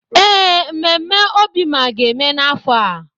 Ee, mmemme Obima ga-eme n’afọ a.